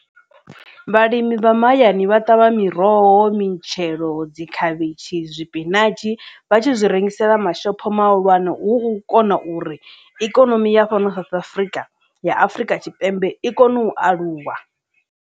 Vhalimi vha mahayani vha ṱavha miroho, mitshelo, dzi khavhishi, sipinatshi vha tshi zwi rengisela mashophoni mahulwane hu kona uri ikonomi ya fhano South Africa ya Afurika Tshipembe i kone u aluwa.